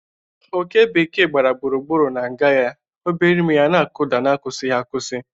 Oké bekee gbara gburugburu na nga ya, ya obere imi na-akụda n'akwụsịghị akwụsị.